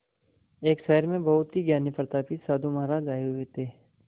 एक शहर में बहुत ही ज्ञानी प्रतापी साधु महाराज आये हुए थे